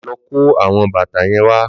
Lò kó áwòn bàtá yèn wà